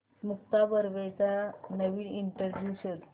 मुक्ता बर्वेचा नवीन इंटरव्ह्यु शोध